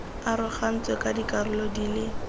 arogantswe ka dikarolo di le